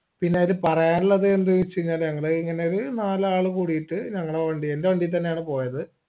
പിന്നെയത് പറയാനുള്ളത് ന്ത്ന്ന് വെച്ച് കൈനാൽ അങ്ങനെ ഇങ്ങനൊരു നാലാളു കൂടീട്ട് ഞങ്ങളെ വണ്ടി എൻറെ വണ്ടീ തന്നെയാണ് പോയത്